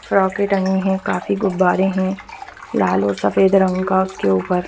फ्रोके टंगी है काफी गुब्बारे है लाल और सफ़ेद रंग कर के ऊपर फ़्रॉके --